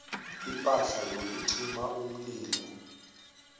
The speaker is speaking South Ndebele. ipahla yokucima umlilo